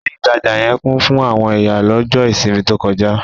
Ilé ìtajà yẹn kún fún àwọn èyàn lọ́jọ́ ìsinmi tó kọjá.